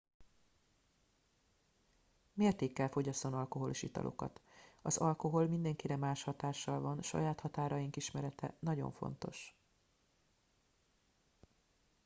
mértékkel fogyasszon alkoholos italokat az alkohol mindenkire más hatással van saját határaink ismerete nagyon fontos